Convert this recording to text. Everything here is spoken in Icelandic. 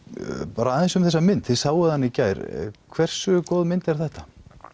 bara aðeins um þessa mynd þið sáuð hana í gær hversu góð mynd er þetta